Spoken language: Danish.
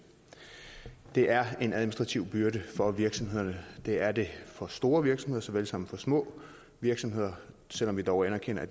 det er en administrativ byrde for virksomhederne det er det for store virksomheder såvel som for små virksomheder selv om vi dog anerkender at